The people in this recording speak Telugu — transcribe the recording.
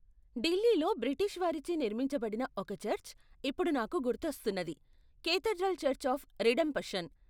ఢిల్లీలో బ్రిటిష్ వారిచే నిర్మించబడిన ఒక చర్చ్ ఇప్పుడు నాకు గుర్తొస్తున్నది, కేథడ్రల్ చర్చ్ ఆఫ్ రిడెంపషన్.